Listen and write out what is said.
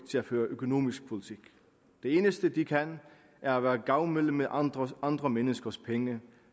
til at føre økonomisk politik det eneste de kan er at være gavmilde med andre andre menneskers penge